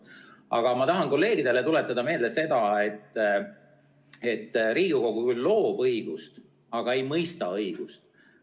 Aga ma tahan kolleegidele tuletada meelde seda, et Riigikogu küll loob õigust, aga ei mõista õigust.